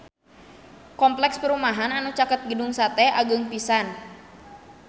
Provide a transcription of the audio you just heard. Kompleks perumahan anu caket Gedung Sate agreng pisan